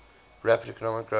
rapid economic growth